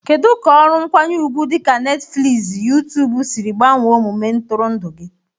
Kedu ka ọrụ nkwanye ugwu dị ka Netifiliizi youtube siri gbanwee omume ntụrụndụ gị?